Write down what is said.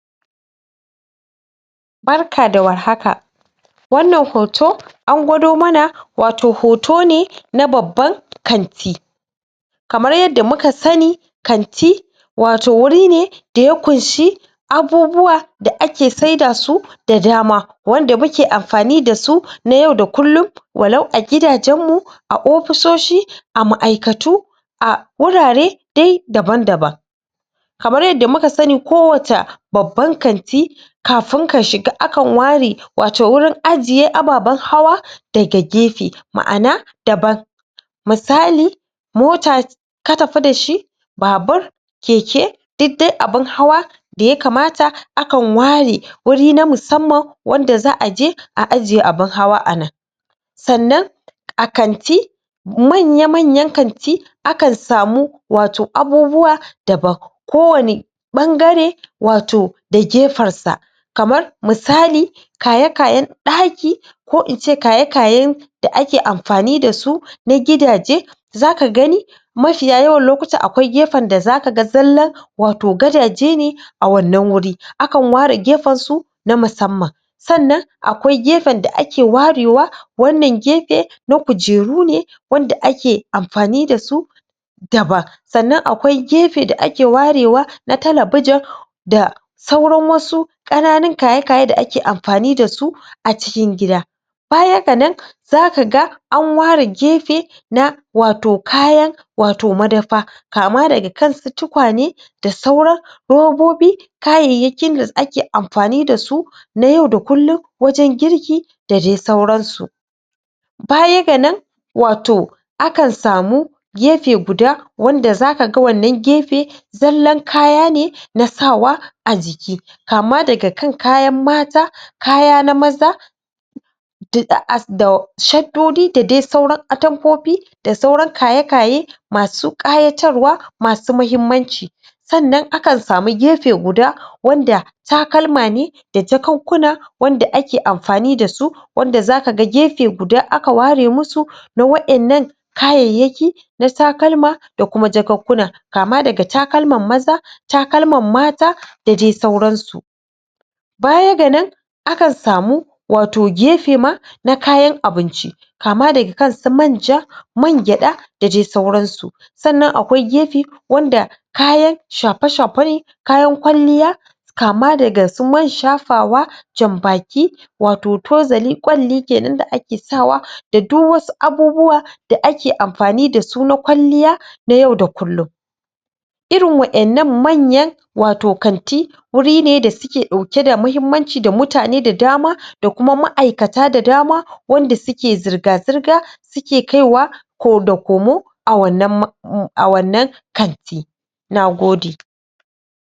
Barka da warhaka wana hoto an gwada mana wato hotone na babban kanti kamar yadda muka sani, kanti wato wurin ne da ya ƙunshi abubuwa da'ake saida su da dama wanda muke amfani dasu na yau da kullum ,wallau a gidajen mu a offisoshi, ah ma'aikatu a gurare dai daban-daban kamar yadda muka sani ko waca babban kanti kafin ka shiga akan ware wato wurin ajiye ababan hawa ne daga gefe, ma'ana daban misali motar ka tafi dashi babar keke duk dai abin hawa da Yakamata akan ware guri na musamman wanda za'aji a ajiye abin hawa anan sannan a kanti, manya-manyan kanti akan samu wato abubuwa daban kowane ɓangare wato da gefansa kamar misali kaya-kayan ɗaki ko ince kaya-kayan da ake amfani dasu na gidaje zaka gane mafiya yawan lokuta akwai gefen da zaka ga zalan wato gadaje ne toh a wana guri, akan ware gefansu na musama na musamman Sannan akwai gefen da'ake warewa wana gefe na kujeru ne wanda ake amfani dasu daban sannan akwai gefen da'ake ware wa na talabijin da auran wasu kananan kaye-kaye da ake amfani dasu acikin gida. Baya gana za ga an ware gefe na wato kayan wato madafa kama daga kan su tukwane da sauran robobi kayayyakin da ake amfani dasu na yau da kullum wajen girki dadai sauransu Baya gana wato akan samu gafe guda wanda zaka ga wana gefe zallan kaya ne na sawa ajiki kama daga kan kayan mata, kaya na maza da as, da shadodi dadai sauran atamfofi da sauran kaye-kaye masu kayatarwa, masu muhimmanci Sannan akan samu gefe guda wanda talkama ne da jakonkuna da ake amfani dasu wanda zaka ga gefe guda aka ware musu na wainan kayayaki na waina takalma dakuma jakonkuna kama daga takalman maza takalman mata dadai sauransu Baya gana akan samu wato gefe daban na kayan abinci kama daga kansu manja, man gyaɗa dadai sauransu, sannan akwai gefe wanda kayan shafe-shafe ne, kayan kwalliya kama daga su man shafawa, jan baki, wato tozali, kwali kenan da'ake sawa a ido da duk wasu abubuwa da'ake amfani dasu na kwalliya na yau da kullum irin waina manyan wato kanti gurin da suke dauke da muhimmanci da mutane da dama da kuma ma'aikata da dama wanda suke zirga-zirga suke kaiwa da komo a wana maa,a maa,a wana kanti! Nagode